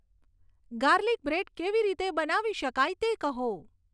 garlic bread કેવી રીતે બનાવી શકાય તે કહો